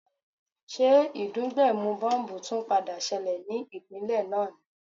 Ṣé ìdúgbẹ̀mù bọ́m̀bù tún padà ṣẹlẹ̀ ní ìpínlè náà ni?